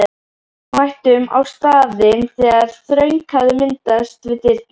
Við mættum á staðinn þegar þröng hafði myndast við dyrnar.